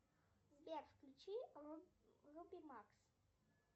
сбер включи руби макс